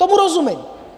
Tomu rozumím.